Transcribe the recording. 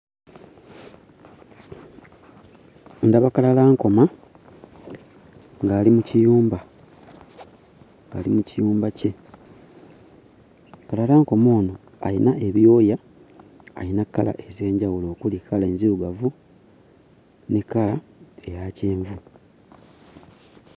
Ndaba kalalankoma ng'ali mu kiyumba, ali mu kiyumba kye. Kalalankoma ono ayina ebyoya, alina kkala ez'enjawulo okuli kkala enzirugavu ne kkala eya kyenvu.